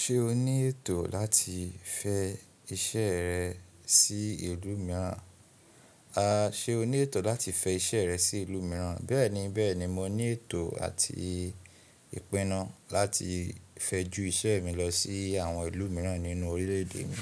Ṣé o ní ètò láti fẹ iṣẹ́ rẹ sí ìlú mìíràn? A, ṣe o ní ètò láti fẹ iṣẹ́ rẹ sí ìlú mìíràn? Bẹ́ẹ̀ni, bẹ́ẹ̀ni mo ní ètò àti ìpinnu láti fẹ́ ju iṣẹ́ mi lọ sí àwọn ìlú mìíràn nínú orílẹ̀èdè mi.